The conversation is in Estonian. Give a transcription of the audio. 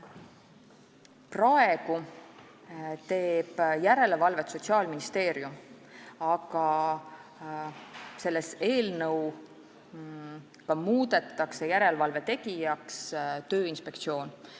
Praegu teeb järelevalvet Sotsiaalministeerium, aga selle eelnõuga muudetakse järelevalve tegijaks Tööinspektsioon.